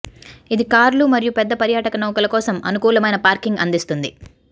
ఇది కార్లు మరియు పెద్ద పర్యాటక నౌకల కోసం అనుకూలమైన పార్కింగ్ అందిస్తుంది